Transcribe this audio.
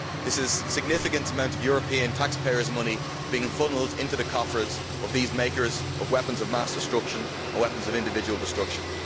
This is a significant amount of European taxpayers' money that is being funnelled into the coffers of these makers of weapons of mass destruction or weapons of individual destruction.